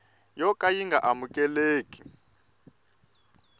yo ka yi nga amukeleki